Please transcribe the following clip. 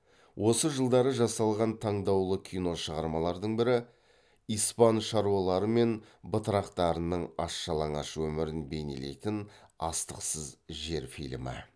осы жылдары жасалған таңдаулы кино шығармалардың бірі испан шаруалары мен батырақтарының аш жалаңаш өмірін бейнелейтін астықсыз жер фильмі